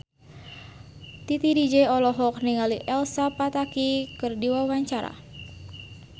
Titi DJ olohok ningali Elsa Pataky keur diwawancara